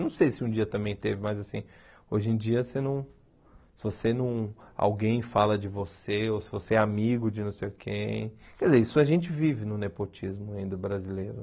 Não sei se um dia também teve, mas assim hoje em dia, você não você não alguém fala de você ou se você é amigo de não sei quem quer dizer... Isso a gente vive no nepotismo ainda brasileiro.